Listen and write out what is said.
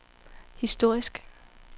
historisk